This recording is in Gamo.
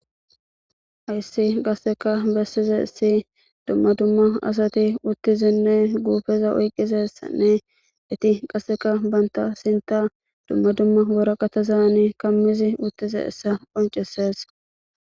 Ayssi qasseka bessize issi dumma dumma asati uttizinne guufeza oyqqizessanne eti qasseka banta sinta dumma dumma woraqatazaani kammizi uttize essa qonceses.